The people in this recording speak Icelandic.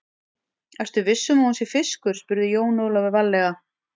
Ertu viss um að hún sé fiskur, spurði Jón Ólafur varlega.